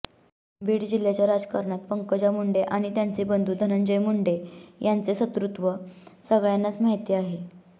बीड जिल्ह्याच्या राजकारणात पंकजा मुंडे आणि त्यांचे बंधू धनंजय मुंडे यांचे शत्रुत्व सगळ्यांनाच माहीत आहे